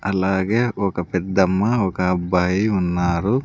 అలాగే ఒక పెద్దమ్మ ఒక అబ్బాయి ఉన్నారు.